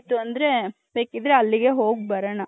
ಬೇಕಿದ್ರೆ ಅಲ್ಲಿಗೆ ಹೋಗಿ ಬರೋಣ .